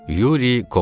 Yuri Koval.